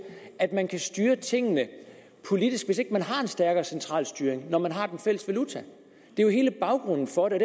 at man kan styre tingene politisk hvis ikke man har en stærkere centralstyring når man har den fælles valuta det er jo hele baggrunden for det